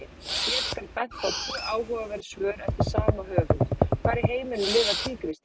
Hér skal bent á tvö áhugaverð svör eftir sama höfund: Hvar í heiminum lifa tígrisdýr?